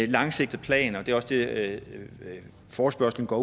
langsigtet plan og det er også det forespørgslen går